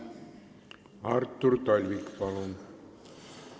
Artur Talvik, palun!